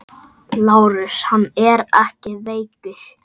LÁRUS: Hann er ekki veikur!